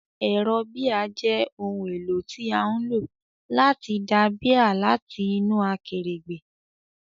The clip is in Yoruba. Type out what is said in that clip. Ẹ̀rọ bíà jẹ́ ohun èlò tí a ń lò láti da bíà láti inú akèrègbè.